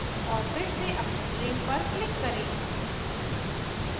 और फिर से अपने frame पर click करें